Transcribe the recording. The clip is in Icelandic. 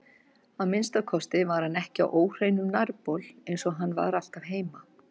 Að minnsta kosti var hann ekki á óhreinum nærbol eins og hann var alltaf heima.